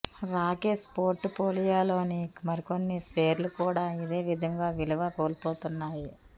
రాకేశ్ పోర్టు ఫోలియోలోని మరికొన్ని షేర్లు కూడా ఇదే విధంగా విలువ కోల్పోతున్నాయి